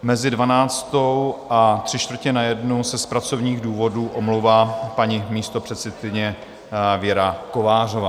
Mezi dvanáctou a tři čtvrtě na jednu se z pracovních důvodů omlouvá paní místopředsedkyně Věra Kovářová.